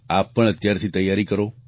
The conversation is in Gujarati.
આપ પણ અત્યારથી તૈયારી કરો